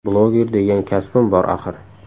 Bloger degan kasbim bor, axir.